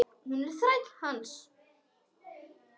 Hún er þræll hans.